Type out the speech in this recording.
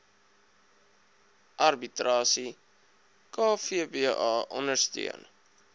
arbitrasie kvba ondersteun